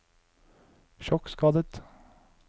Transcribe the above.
sjokkskadet